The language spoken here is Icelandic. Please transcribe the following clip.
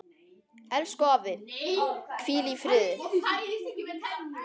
Elsku afi, hvíl í friði.